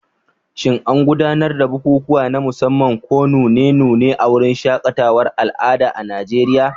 Shin an gudanar da bukukuwa na musamman ko nune-nune a wurin shaƙatawar al'adu a Najeriya?